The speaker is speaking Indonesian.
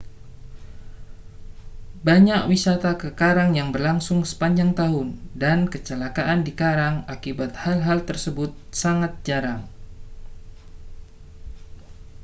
banyak wisata ke karang yang berlangsung sepanjang tahun dan kecelakaan di karang akibat hal-hal tersebut sangat jarang